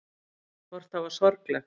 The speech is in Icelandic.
Hvort það var sorglegt.